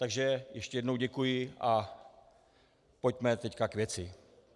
Takže ještě jednou děkuji a pojďme teď k věci.